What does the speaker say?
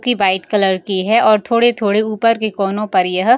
की white colour की है और थोड़े-थोड़े ऊपर के कोनो पर यह --